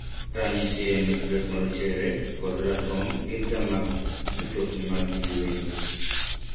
mufwano en ni plets marochere kod ratong' gin ga mag mitokni mag jii ma kawaida.